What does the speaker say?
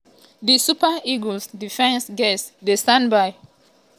di super eagles defence gatz dey standby.